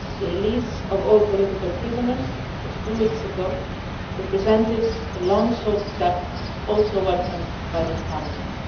The release of all political prisoners just two weeks ago represented a long sought step that was also welcomed by this Parliament.